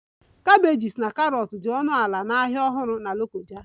Cabbages na carrots dị ọnụ ala na Ahịa Ọhụrụ Na lokoja